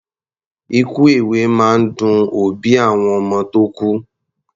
Ikú èwe máa ń dun òbí àwọn ọmọ tó kú.